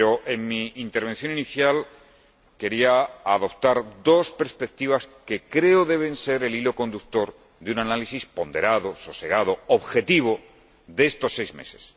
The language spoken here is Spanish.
En mi intervención inicial quería adoptar dos perspectivas que creo deben ser el hilo conductor de un análisis ponderado, sosegado y objetivo de estos seis meses.